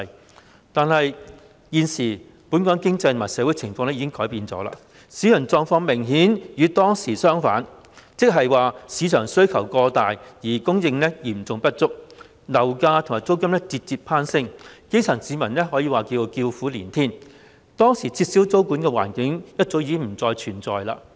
然而，本港現時的經濟和社會環境已經改變，市場狀況明顯與當時相反，即是市場需求過大而供應嚴重不足，樓價和租金節節攀升，基層市民可謂叫苦連天，當時撤銷租務管制的環境早已不復存在。